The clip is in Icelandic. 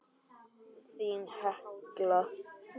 Þín, Hekla.